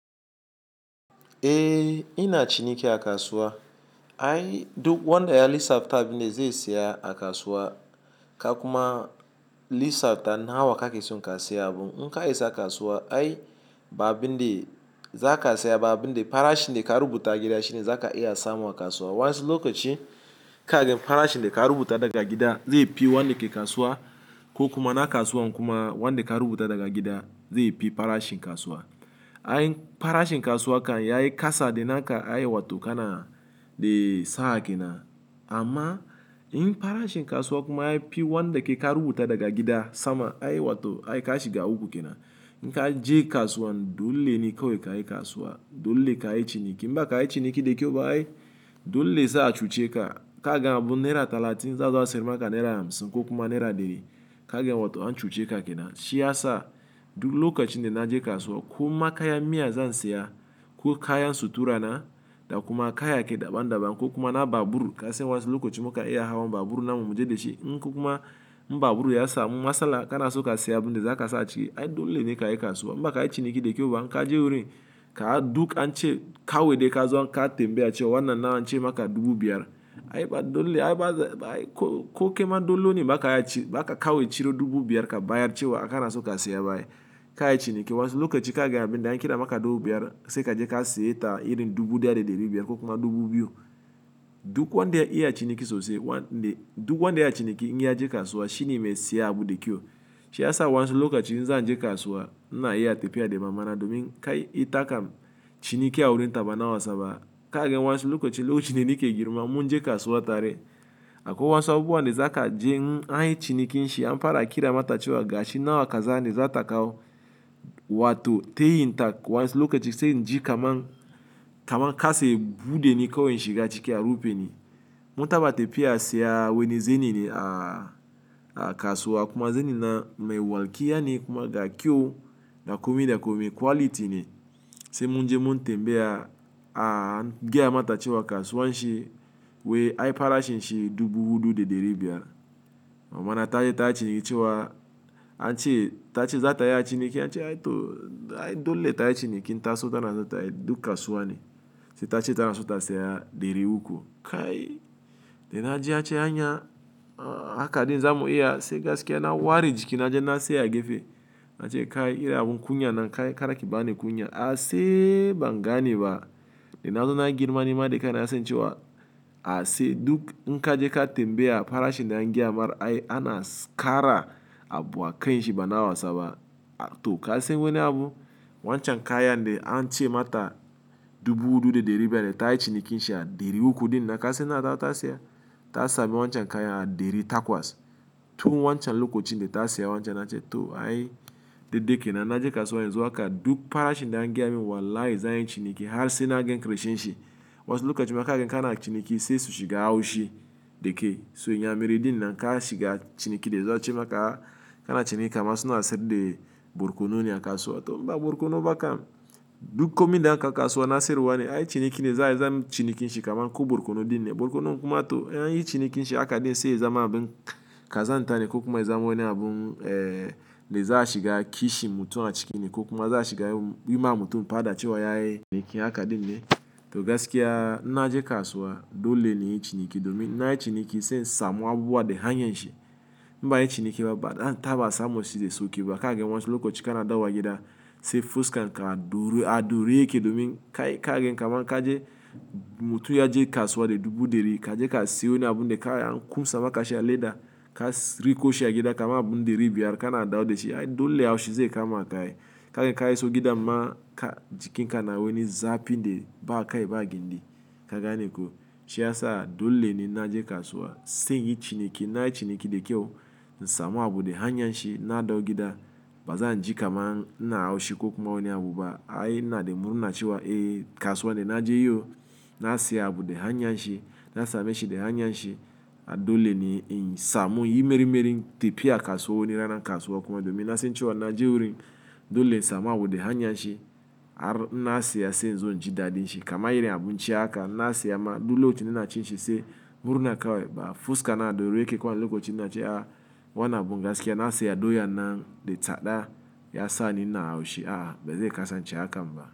Eh ina ciniki a kasuwa. Ai duk wanda ya lissafta abun da zai saya a kasuwa ka kuma lissafta nawa kake so ka saya abun. In ka isa kasuwa ai ba abin da za ka saya ba abin da farashin da ka rubuta a gida shine za ka iya samu a kasuwa. Wa ansu lokaci kaga farashin da ka rubuta daga gida zai fi wanda ke kasuwa ko kuma na kasuwan kuma wanda ka rubuta daga gida zai fi farashin kasuwa. Ai farashin kasuwa kan yayi kasa da naka ai watto kana dai sa'a kenan. Amma in farashin kasuwa kuma yayi fi wanda ke ka rubuta daga gida sama ai watto ai ka shiga uku kenan. In ka je kasuwan dole ne kawai ka yi kasuwa, dole ka yi ciniki. Mba ka yi ciniki da kyau ba ai dole za a cuce ka. Kaga abun naira talatin za zuwa a siyar maka naira hamsin ko kuma naira dari kaga watto an cuce ka kenan. Shiyasa duk lokacin dana je kasuwa koma kayan miya zan saya ko kayan sutura na da kuma kayayyaki daban daban ko kuma na babur kasan wa insu lokaci mukan iya hawa babur namu muje dashi in ko kuma in babur yasami matsala kana son kasaya abinda zaka saka aciki ai dole ne kayi kasuwa Mba ka yi ciniki da kyau ba in ka je wurin ka duk an ce kawai dai ka zo ka tambayi acewa wannan na an ce maka dubu biyar ai ba dole ai ba ai ko ko kema dole ne ba ka yi ci ba ka kawai ciro dubu biyar ka bayar cewa a kana so ka saya ba ai. Ka yi ciniki wasu lokaci kaga abin da an kira maka dubu biyar sai ka je ka sayi ta irin dubu ɗaya da ɗari biyar ko kuma dubu biyu. Duk wanda ya iya ciniki sosai wanda duk wanda ya ciniki in ya je kasuwa shi ne mai saya abun da kyau. Shi ya sa wasu lokaci in zan je kasuwa ina iya tafiya da mama na domin kai ita kam ciniki a wurin taba na wasaba. Kaga wasu lokaci lokacin da nake girma mun je kasuwa tare. Akwai wasu abubuwa na za ka je in ai cinikin shi an fara kira mata cewa gashi nawa ka zane za ta kawo watto ta yin ta wasu lokaci sai in ji kaman kaman ka sa ya buɗe ne kawai in shiga ciki a rufe ni. Mun taɓa tafiya siya wani zani ne a kasuwa kuma zani na mai walki yane kuma ga kyau ga komai da komai quality ne. Sai mun je mun tembaya giya mata cewa kasuwan shi wai ai farashin shi dubu hudu da dari biyar. Mama na ta yi ta cewa an ce ta ce za ta yi a ciniki an ce ai to ai dole ta yi ciniki in ta so ta na za ta yi duk kasuwa ne. Sai ta ce ta na so ta saya dari uku. Kai! Da na ji an ce anya haka ɗin za mu iya sai gaskiya na ware jiki na je na saya gefe. Nace kai irin abun kunyan nan kai kada kibani kunya a se bangane ba dana zo na girma nima da kaina na san cewa ase duk in kaje ka tembaya farashin da angaya mar ai ana kara abu a kai shi ba na wasaba. A to ka san wani abu? Wancan kayan da an ce mata dubu hudu da dari biyar dai ta yi ciniki shi a dari uku din na ka san na za ta saya? Ta sabi wancan kayan a dari takwas. To wancan lokacin da ta saya wancan an ce to ai daidai kenan na je kasuwa yanzu aka duk farashin da an giya min wallahi zanyi ciniki har sai na gan kirishin shi. Wani lokaci muka gan kana ciniki sai su shiga haushi dike so in ya mere din nan ka shiga ciniki dai za a ce maka kana ciniki amma suna sirri burkunu ne a kasuwa. To mba burkunu ba kam duk komi da aka kasuwa na siyarwa ne ai ciniki ne za a yi cinikin shi kaman ko burkunu din ne. Burkunu kuma to an yi cinikin shi a kaɗai sai za mu abun ka za ni ta ne ko kuma za mu wani abun eh da za a shiga kishi mutum a cikin shi ko kuma za a shiga wi ma mutum padaci waye yake ciniki a kaɗai ne. To gaskiya ina je kasuwa dole ne yin ciniki domin ina ciniki sai in samu abubuwa da hanyan shi. In banyi ciniki ba dan taɓa samun shi da sauƙi ba kagan wasu lokacin in kana dawowa gida se fusken ka a daure yake domin ka gan kaman mutum yaje kasuwa da dubu dari kaje ka suyo wani abinda kawai an kunsa maka shi a leda ka riko shi a gida ka ma abun dari biyar kana ɗau da shi ai dole haushi zai kama ka ai. Kaga ka iso gida ma ka jikin ka na wani zafi dai ba kai ba gindi ka gane ko. Shi ya sa dole ne na je kasuwa sai yin ciniki. Ina ciniki da kyau, na samu abun da hanyar shi na ɗau gida bazan ji kaman na haushi ko kuma wani abu ba. Ai ina da murna cewa eh kasuwa ina je yau na saya abun da hanyar shi na samu shi da hanyar shi a dole ne yin samu yi meri meri tafiya kasuwa wani rana kasuwa kuma domin na san cewa na je wurin dole in samu abun da hanyar shi. Har in na saya sai in zo in ji dadin shi kaman irin abun cewa aka na saya ma dole hoton ina cin shi sai murna ka waiba. Fuska na a duruye ke kwan lokacin na ce a wannan abun gaskiya na saya doya nan da tsada ya sa ni na haushi a bai zai kasa ce hakan ba.